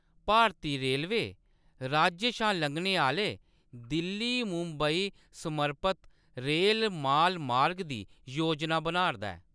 भारती railway, राज्य शा लंघने आह्‌‌‌ले दिल्ली-मुंबई समर्पत रेल-माल मार्ग दी योजना बना 'रदा ऐ।